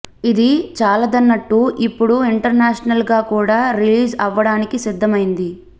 ఇది చాలదన్నట్టు ఇప్పుడు ఇంటర్నేషనల్ గా కూడా రిలీజ్ అవ్వడానికి సిద్దమైంది